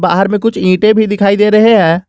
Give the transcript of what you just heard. बाहर में कुछ ईंटें भी दिखाई दे रहे हैं।